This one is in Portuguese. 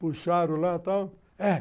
Puxaram lá, tal.